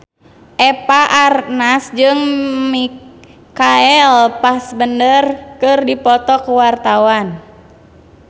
Eva Arnaz jeung Michael Fassbender keur dipoto ku wartawan